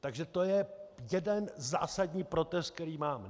Takže to je jeden zásadní protest, který mám.